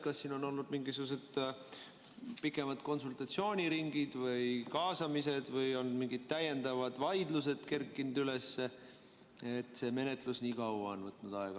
Kas on olnud mingisugused pikemad konsultatsiooniringid või kaasamised või on mingid täiendavad vaidlused üles kerkinud, et see menetlus on nii kaua aega võtnud?